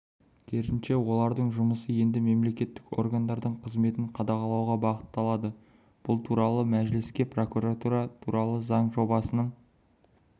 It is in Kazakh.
керісінше олардың жұмысы енді мемлекеттік органдардың қызметін қадағалауға бағытталады бұл туралы мәжілісте прокуратура туралы заң жобасының